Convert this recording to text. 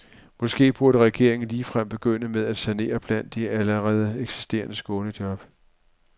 Måske burde regeringen ligefrem begynde med at sanere blandt de allerede eksisterende skånejob.